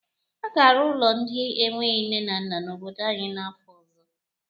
A ga-arụ ụlọ ndị enweghi nne na nna n'obodo anyị n'afọ ọzọ.